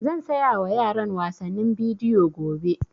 Zan saya wa yaran wasannin bidiyo gobe